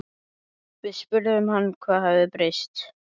Við spurðum hann hvað hafi breyst?